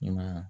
I ma ye wa